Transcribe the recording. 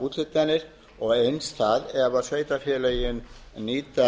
gegnum byggðaúthlutanir og eins það ef sveitarfélögin nýta